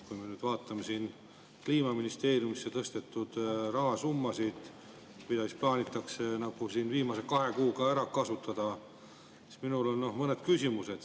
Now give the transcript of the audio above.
Kui me nüüd vaatame Kliimaministeeriumisse tõstetud rahasummasid, mis plaanitakse viimase kahe kuuga ära kasutada, siis minul on mõned küsimused.